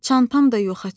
Çantam da yoxa çıxıb.